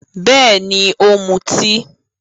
Bẹ́ẹ̀ni, ó ń mutí.